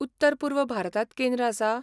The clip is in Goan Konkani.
उत्तर पूर्व भारतांत केंद्र आसा?